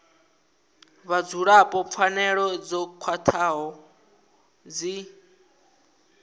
vhadzulapo pfanelo dzo khwathaho dzi